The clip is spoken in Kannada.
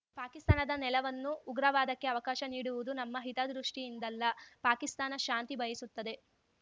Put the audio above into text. ಪಾಕಿಸ್ತಾನದ ನೆಲವನ್ನು ಉಗ್ರವಾದಕ್ಕೆ ಅವಕಾಶ ನೀಡುವುದು ನಮ್ಮ ಹಿತದೃಷ್ಟಿಯಿಂದಲ್ಲ ಪಾಕಿಸ್ತಾನ ಶಾಂತಿ ಬಯಸುತ್ತದೆ